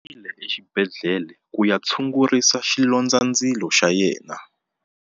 U yile exibedhlele ku ya tshungurisa xilondzandzilo xa yena.